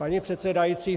Paní předsedající...